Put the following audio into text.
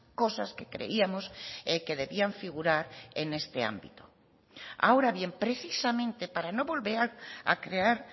cosas que creíamos que debían figurar en este ámbito ahora bien precisamente para no volver a crear